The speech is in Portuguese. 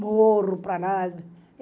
Morro para lá.